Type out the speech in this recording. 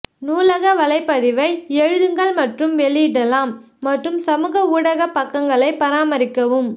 நூலக வலைப்பதிவை எழுதுங்கள் மற்றும் வெளியிடலாம் மற்றும் சமூக ஊடக பக்கங்களை பராமரிக்கவும்